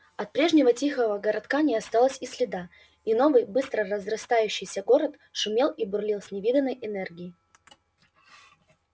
от прежнего тихого городка не осталось и следа и новый быстро разрастающийся город шумел и бурлил с невиданной энергией